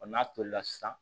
n'a tolila sisan